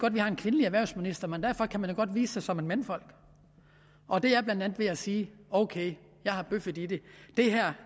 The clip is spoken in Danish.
at vi har en kvindelig erhvervsminister men derfor kan man da godt vise sig som et mandfolk og det er blandt andet ved at sige ok jeg har bøffet i det